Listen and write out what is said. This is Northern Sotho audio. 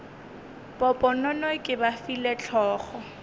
poponono ke ba file hlogo